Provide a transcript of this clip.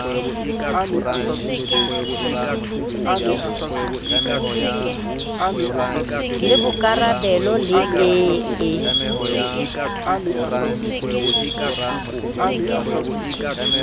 le bokarabelo le e e